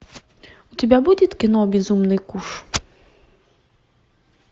у тебя будет кино безумный куш